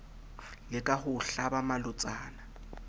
leka ho o hlaba malotsana